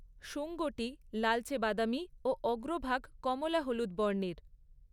শুঙ্গটি লালচে বাদামি ও অগ্রভাগ কমলা হলুদ বর্ণের।